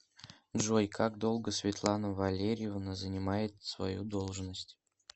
джой как долго светлана валерьевна занимает свою должность